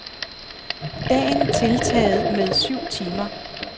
Dagen tiltaget med syv timer.